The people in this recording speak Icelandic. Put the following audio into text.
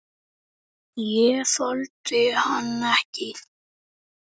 Ég þoldi hann ekki.